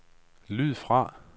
lyd fra